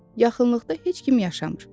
Yaxınlıqda heç kim yaşamır.